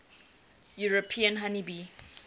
european honey bee